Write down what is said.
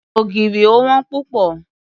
Ògìrì ò wón púpọ̀.